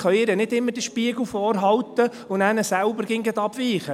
wir können ihr nicht immer den Spiegel vorhalten und dann selber immer gleich abweichen.